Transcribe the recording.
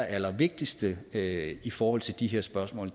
allerallervigtigste i forhold til de her spørgsmål